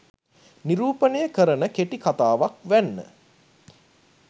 නිරූපණය කරන කෙටි කතාවක් වැන්න.